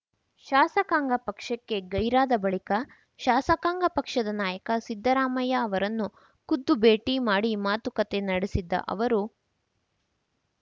ಶಾಸಕಾಂಗ ಪಕ್ಷಕ್ಕೆ ಗೈರಾದ ಬಳಿಕ ಶಾಸಕಾಂಗ ಪಕ್ಷದ ನಾಯಕ ಸಿದ್ದರಾಮಯ್ಯ ಅವರನ್ನು ಖುದ್ದು ಭೇಟಿ ಮಾಡಿ ಮಾತುಕತೆ ನಡೆಸಿದ್ದ ಅವರು